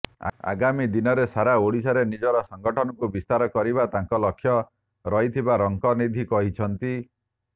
ଆଗାମୀ ଦିନରେ ସାରା ଓଡ଼ିଶାରେ ନିଜର ସଂଗଠନକୁ ବିସ୍ତାର କରିବା ତାଙ୍କ ଲକ୍ଷ୍ୟ ରହିଥିବା ରଙ୍କନିଧି କହିଛନ୍ତି